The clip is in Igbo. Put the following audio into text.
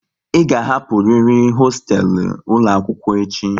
Ị ga hapụriri hoostelu ụlọ akwụkwọ echi!